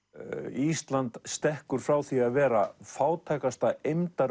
ísland stekkur frá því að vera fátækasta